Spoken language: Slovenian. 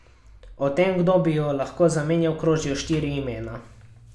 O tem, kdo bi jo lahko zamenjal, krožijo štiri imena.